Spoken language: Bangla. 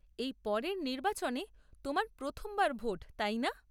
এই পরের নির্বাচনে তোমার প্রথমবার ভোট , তাই না?